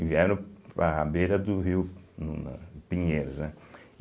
E vieram para a beira do rio no Pinheiros, né?